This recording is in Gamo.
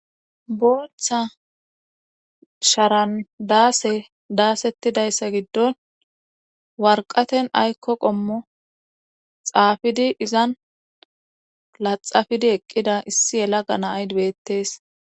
boththa sharandaase daasettidayssa giddon warqaten aykko qommo xaafidi izan laxafidi eqqida issi yela ganaaydbettees